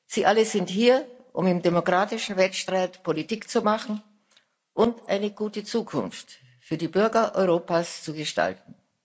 Sie alle sind hier, um im demokratischen Wettstreit Politik zu machen und eine gute Zukunft für die Bürger Europas zu gestalten.